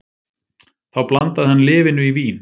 Þá blandaði hann lyfinu í vín